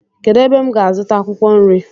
Kedụ ebe m gá-azuta akwụkwọ nri?